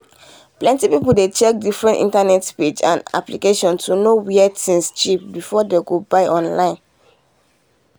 plenty people dey check different internet page and applications to know where things cheap before dem go buy online.